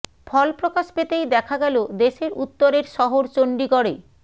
ফল প্রকাশ পেতেই দেখা গেল দেশের উত্তরের শহর চণ্ডীগড়ে